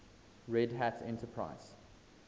red hat enterprise